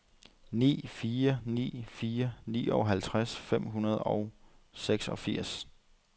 ni fire ni fire nioghalvtreds fem hundrede og seksogfirs